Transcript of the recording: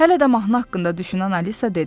Hələ də mahnı haqqında düşünən Alisa dedi.